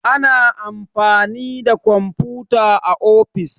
ana amfani da kwamfuta a ofis